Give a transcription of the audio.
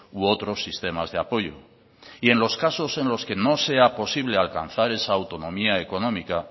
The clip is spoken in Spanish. u otros sistemas de apoyo y en los casos en los que no sea posible alcanzar esa autonomía económica